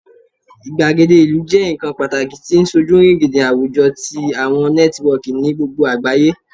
igbagede ilu jẹ nkan pataki ti sojurigindin awujọ ti awọn nẹtiwọọki ni gbogbo agbaye